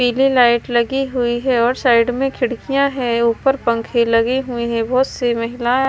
पीली लाइट लगी हुई है और साइड में खिड़कियां है। ऊपर पंखे लगे हुई है। बहोत सी महिला--